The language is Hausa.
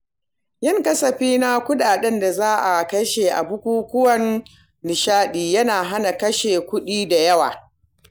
Yin kasafi na kuɗin da za'a kashe a bukukuwan nishaɗi yana hana kashe kuɗi da yawa.